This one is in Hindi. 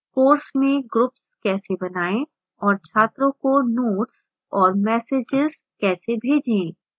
course में ग्रुप्स कैसे बनाएं और छात्रों को notes और messages कैसे भेजें